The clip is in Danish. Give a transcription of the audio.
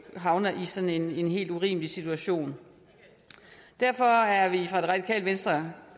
havner i sådan en helt urimelig situation derfor er det radikale venstre